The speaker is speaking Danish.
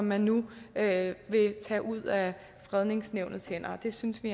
man nu tage ud af fredningsnævnets hænder det synes vi